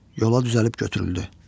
Yola düzəlib götürüldü.